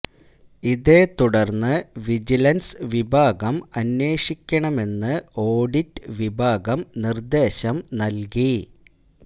ഇതേത്തുടര്ന്ന് vigilance വിഭാഗം അന്വേഷിക്കണമെന്ന് audit വിഭാഗം നിര്ദ്ദേശം നല്കി